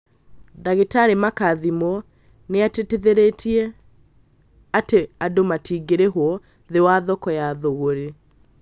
Dr Makathimo nĩatĩtithĩtie atĩ "andũ matingĩrĩhwo thĩ wa thoko ya thogorĩ